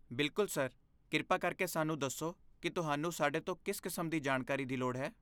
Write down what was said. ਬਿਲਕੁਲ, ਸਰ! ਕਿਰਪਾ ਕਰਕੇ ਸਾਨੂੰ ਦੱਸੋ ਕਿ ਤੁਹਾਨੂੰ ਸਾਡੇ ਤੋਂ ਕਿਸ ਕਿਸਮ ਦੀ ਜਾਣਕਾਰੀ ਦੀ ਲੋੜ ਹੈ।